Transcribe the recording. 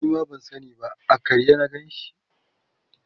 Nima ban sani ba a karye na Ganshi